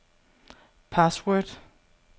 password